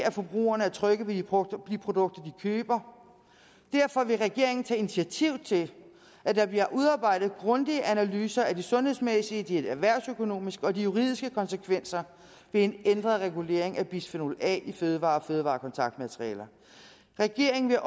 at forbrugerne er trygge ved de produkter de køber derfor vil regeringen tage initiativ til at der bliver udarbejdet grundige analyser af de sundhedsmæssige erhvervsøkonomiske og juridiske konsekvenser ved en ændret regulering af bisfenol a i fødevarer og fødevarekontaktmaterialer regeringen